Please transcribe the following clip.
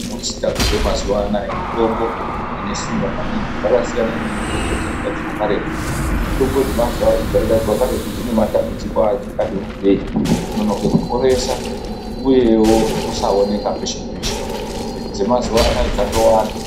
Dzinogadzirwa mazuva anaya mitombo ime simba maningi yakasiyana neyaihadzirwa karetu, mitombo yaigadzirwa karetu dzine matambudziko akati wandei kononoka kuporesa uyewo kusaoneka pese pese dzemazuva anaya dzadowanda.